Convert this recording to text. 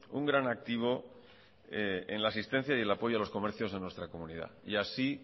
un gran activo en la asistencia y en el apoyo a los comercios en nuestra comunidad así